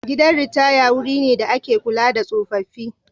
Gidan ritaya wuri ne da ake kula da tsofaffi.